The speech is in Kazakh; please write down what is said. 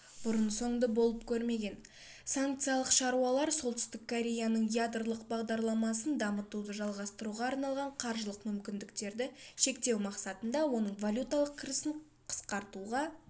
бұрын-соңды болып көрмеген санкциялық шаралар солтүстік кореяның ядролық бағдарламасын дамытуды жалғастыруға арналған қаржылық мүмкіндіктерді шектеу мақсатында оның валюталық кірісін қысқартуға